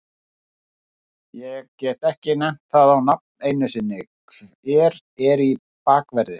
Ég get ekki nefnt það á nafn einu sinni, hver er í bakverði?